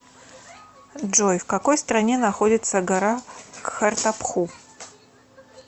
джой в какой стране находится гора кхартапху